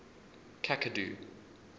cacadu